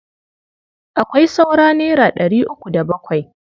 Akwai saura naira ɗari uku da bakwai.